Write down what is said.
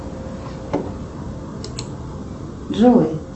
джой